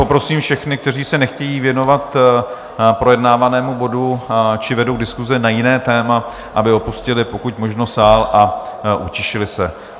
Poprosím všechny, kteří se nechtějí věnovat projednávanému bodu či vedou diskuze na jiné téma, aby opustili pokud možno sál a utišili se.